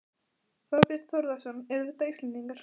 Þorbjörn Þórðarson: Eru þetta Íslendingar?